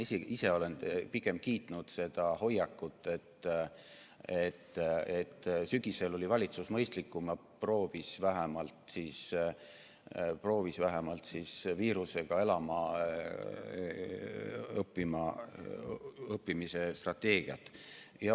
Ma ise olen pigem kiitnud seda hoiakut, et sügisel oli valitsus mõistlikum ja vähemalt proovis viirusega elama õppimise strateegiat.